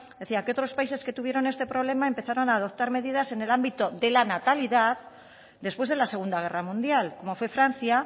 decía que otros países que tuvieron este problema empezaron a adoptar medidas en el ámbito de la natalidad después de la segunda guerra mundial como fue francia